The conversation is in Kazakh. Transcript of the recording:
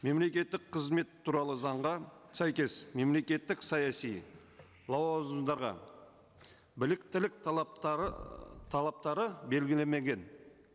мемлекеттік қызмет туралы заңға сәйкес мемлекеттік саяси лауазымдарға біліктілік талаптары талаптары белгілемеген